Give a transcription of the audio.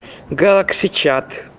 галакси чат